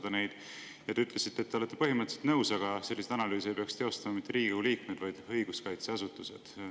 Te ütlesite, et te olete põhimõtteliselt nõus, aga selliseid analüüse ei peaks tegema mitte Riigikogu liikmed, vaid õiguskaitseasutused.